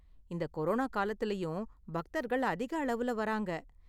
இந்த கொரோனா காலத்துலயும், பக்தர்கள் அதிக அளவுல வராங்க.